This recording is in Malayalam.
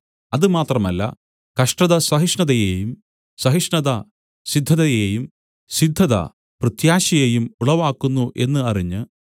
അത് മാത്രമല്ല കഷ്ടത സഹിഷ്ണതയെയും സഹിഷ്ണത സിദ്ധതയെയും സിദ്ധത പ്രത്യാശയെയും ഉളവാക്കുന്നു എന്ന് അറിഞ്ഞ്